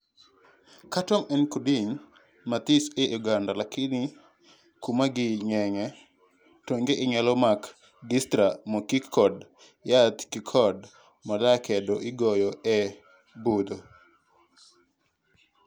catworm en kudni mathis e oganda lakini kuma gi ng'enye, tonge inyalo mak gi stra mokik kod yath kkod molaa keto igoyo e pudho